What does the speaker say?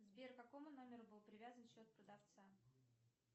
сбер к какому номеру был привязан счет продавца